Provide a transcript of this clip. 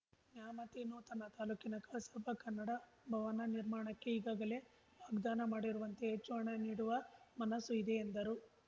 ನ್ಯಾಮತಿ ನೂತನ ತಾಲೂಕಿನ ಕಸಾಪ ಕನ್ನಡ ಭವನ ನಿರ್ಮಾಣಕ್ಕೆ ಈಗಾಗಲೇ ವಾಗ್ದಾನ ಮಾಡಿರುವಂತೆ ಹೆಚ್ಚು ಹಣ ನೀಡುವ ಮನಸ್ಸು ಇದೆ ಎಂದರು